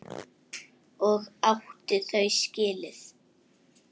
Og átti þau skilið.